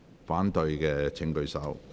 反對的請舉手。